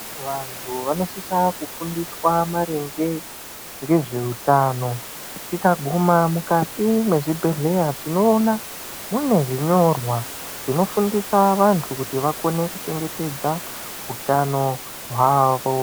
Vantu vanosisa kufundiswa maringe ngezveutano, tikaguma mukati mwezvibhedhleya tinoona mune zvinyorwa zvinofundisa vantu kuti vakone kuchengetedza utano hwavo.